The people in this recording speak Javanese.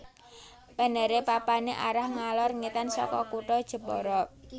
Penere papane arah ngalor ngetan saka kutha Jepara